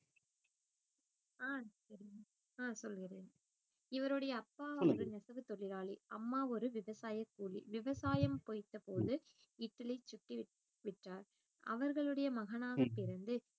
அஹ் தெரியும் அஹ் சொல்லுகிறேன் இவருடைய அப்பா வந்து நெசவுத் தொழிலாளி அம்மா ஒரு விவசாயக் கூலி விவசாயம் பொய்த்த போது இட்லி சுட்டு விற்றார் அவர்களுடைய மகனாகப் பிறந்து